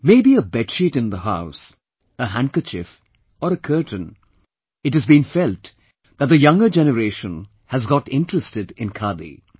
May be a bedsheet in the house, a handkerchief or a curtain, it has been felt that the younger generation has got interested in Khadi